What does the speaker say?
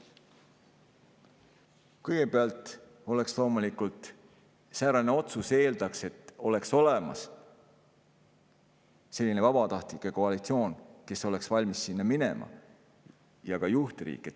Kõigepealt, säärane otsus loomulikult eeldaks, et oleks olemas vabatahtlike koalitsioon, kes oleks valmis sinna minema, ja ka juhtriik.